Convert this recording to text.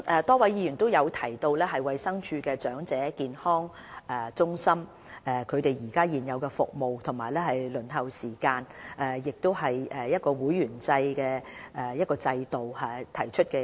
多位議員就衞生署的長者健康中心的現有服務、輪候時間和會員制制度提出意見。